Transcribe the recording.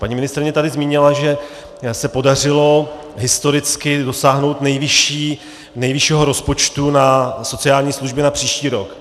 Paní ministryně tady zmínila, že se podařilo historicky dosáhnout nejvyššího rozpočtu na sociální služby na příští rok.